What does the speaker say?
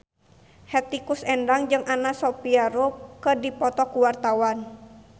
Hetty Koes Endang jeung Anna Sophia Robb keur dipoto ku wartawan